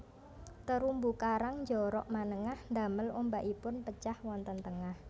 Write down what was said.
Terumbu karang njorok manengah ndamel ombakipun pecah wonten tengah